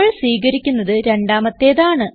നമ്മൾ സ്വീകരിക്കുന്നത് രണ്ടാമത്തേത് ആണ്